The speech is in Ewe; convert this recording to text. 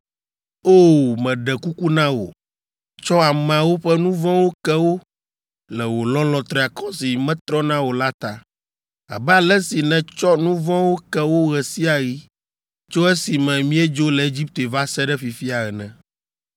O! Meɖe kuku na wò, tsɔ ameawo ƒe nu vɔ̃wo ke wo le wò lɔlɔ̃ triakɔ si metrɔna o la ta, abe ale si nètsɔ nu vɔ̃wo ke wo ɣe sia ɣi tso esime míedzo le Egipte va se ɖe fifia ene.”